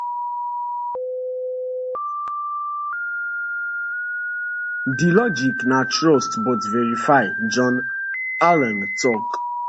di logic na trust but verify john allen tok